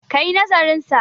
ka yi nazarinsa!